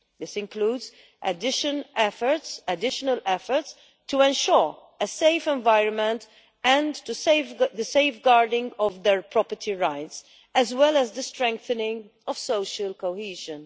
This includes additional efforts to ensure a safe environment and the safeguarding of their property rights, as well as the strengthening of social cohesion.